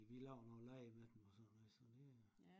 Vi vi laver nogle lege med dem og sådan noget så det